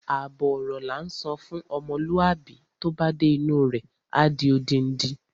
Àbọ̀ ọ̀rọ̀ la ńsọ fún ọmọlúwàbí, tó bá dé inú u rẹ̀, á di odindi.